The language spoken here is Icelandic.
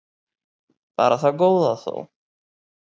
Bara það góða þó.